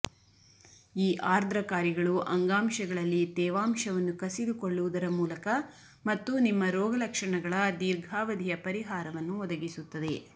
ಈ ಆರ್ದ್ರಕಾರಿಗಳು ಅಂಗಾಂಶಗಳಲ್ಲಿ ತೇವಾಂಶವನ್ನು ಕಸಿದುಕೊಳ್ಳುವುದರ ಮೂಲಕ ಮತ್ತು ನಿಮ್ಮ ರೋಗಲಕ್ಷಣಗಳ ದೀರ್ಘಾವಧಿಯ ಪರಿಹಾರವನ್ನು ಒದಗಿಸುತ್ತದೆ